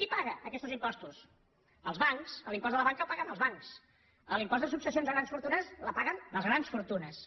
qui paga aquestos impostos els bancs l’impost de la banca el paguen els bancs l’impost de successions a grans fortunes el paguen les grans fortunes